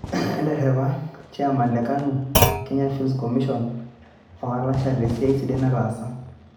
Eterepa cheyaman le KANU Kenya Film Commission o Kalasha te siaai sidai naatasa.